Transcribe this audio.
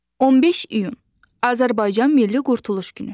15 iyun Azərbaycan Milli Qurtuluş günü.